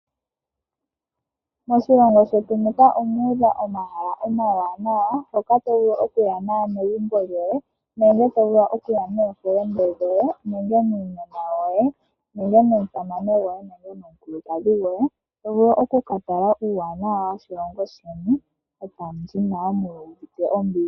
Moshilongo shetu muka omuudha omahala omawanawa hoka tovulu okuya naanegumbo lyoye, nenge tovulu okuya nookuume koye, nenge nuunona woye, nenge nomusamane gwoye, nenge nomukulukadhi gwoye. Tovulu okukatala uuwanawa woshilongo shoye etamu li nawa mu uvite ombili.